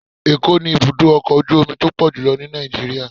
Ẹ̀ko ni ibudọ ọkọ ojú omí to pọjulọ ní Nijiriria